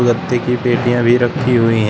गत्ते की पेटियां भी रखी हुई हैं।